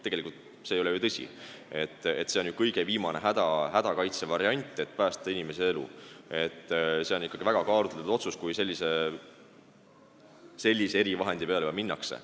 Tegelikult ei ole see ju tõsi, see on kõige viimane hädakaitsevariant, et päästa inimese elu, see on ikkagi väga kaalutletud otsus, kui sellist erivahendit kasutatakse.